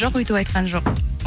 жоқ өйтіп айтқан жоқ